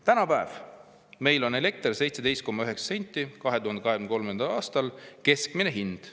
Tänapäev: elekter meil 17,9 senti 2023. aastal, keskmine hind.